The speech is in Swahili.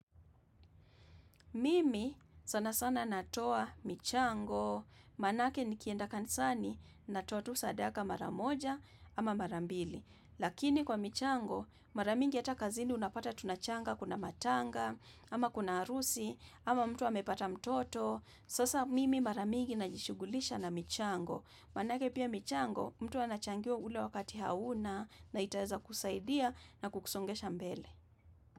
Mimi sana sana natoa michango, maanake nikienda kanisani ninatoa tu sadaka mara moja ama mara mbili. Lakini kwa michango, mara mingi hata kazini unapata tunachanga kuna matanga, ama kuna harusi, ama mtu amepata mtoto. Sasa mimi mara mingi najishughulisha na michango. Maanake pia michango, mtu anachangia ule wakati hauna na itaeza kukusaidia na kukusongesha mbele.